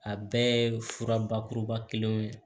A bɛɛ ye fura bakuruba kelen ye